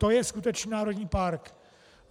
To je skutečně národní park.